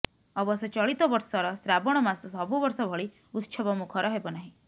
ଅବଶ୍ୟ ଚଳିତ ବର୍ଷର ଶ୍ରାବଣ ମାସ ସବୁ ବର୍ଷ ଭଳି ଉତ୍ସବ ମୁଖର ହେବ ନାହିଁ